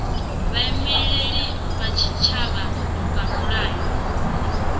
vhaimeleli vha tshitshavha vha mulayoni